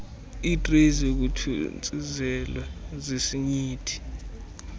iitreyi zokuthontsizelwa zesinyithi